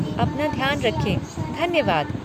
अपना ध्यान रखें, धन्यवाद।